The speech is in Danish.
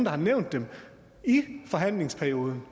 har nævnt dem i forhandlingsperioden